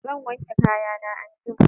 Zan wanke kayan na anjima